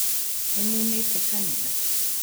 Nĩ mũmĩte kanitha